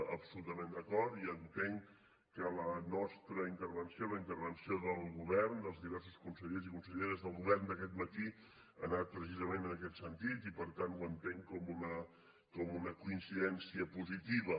absolutament d’acord i entenc que la nostra intervenció la intervenció del govern dels diversos consellers i conselleres del govern d’aquest matí ha anat precisament en aquest sentit i per tant ho entenc com una coincidència positiva